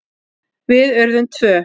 Við urðum tvö.